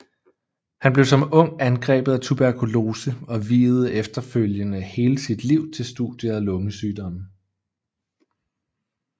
Han blev som ung angrebet af tuberkulose og viede efterfølgende hele sit liv til studiet af lungesygdomme